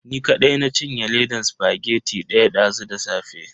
Ni kadai na cinye ledan spaghetti daya dazu da safe.